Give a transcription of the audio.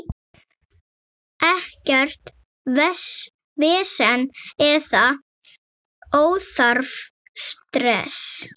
Ekkert vesen eða óþarfa stress.